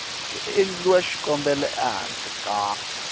ku endliwa xikombelo ehansi ka